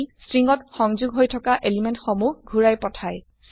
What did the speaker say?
ই string ত সংযোগ হৈ থকা এলিমেন্ট সমুহ ঘুৰাই পথাই